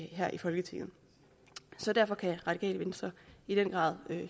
her i folketinget derfor kan radikale venstre i den grad